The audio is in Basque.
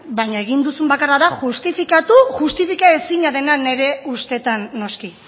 baina egin duzun bakarra da justifikatu justifika ezina dena nire ustetan noski